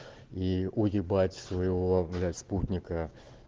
и уебать своего блять спутника